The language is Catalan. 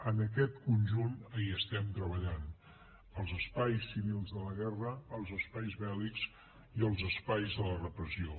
en aquest conjunt hi estem treballant els espais civils de la guerra els espais bèl·lics i els espais de la repressió